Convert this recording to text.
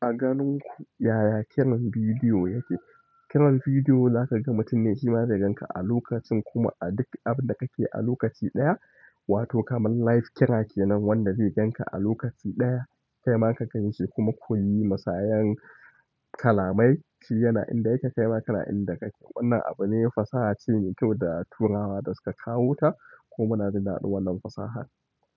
Aganinku yaya kiran video yake? Ƙirar bidiyo zaka ga mutum ne shi ma zai gan ka a lokacin kuma a duk abinda kake a lokaci ɗaya, wato kamar live kira kenan wanda zai gan ka a lokaci ɗaya, kaima ka ganshi kuma kuyi musayan kalamai. Shi yana inda yake, kai ma kana inda kake. Wannan abu ne fasaha ce mai kyau da turawa suka kawo ta kuma na jinadu wannan fasaha.